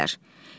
Gedirlər.